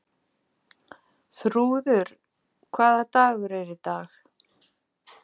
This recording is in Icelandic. Þrúður, hvaða dagur er í dag?